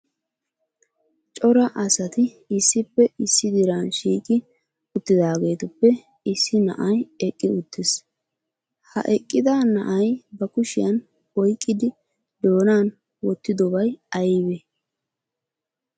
Cora asati issippe issi diran shiiqi uttidaagetuppe issi na'ay eqqi uttiis. Ha eqqida na'ay ba kushiyan oyqqidi doonan wottidobay aybee?